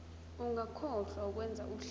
ungakhohlwa ukwenza uhlaka